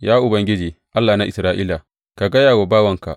Ya Ubangiji, Allah na Isra’ila, ka gaya wa bawanka.